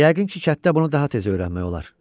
Yəqin ki kətdə bunu daha tez öyrənmək olar.